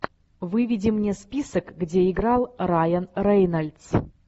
выведи мне список где играл райан рейнольдс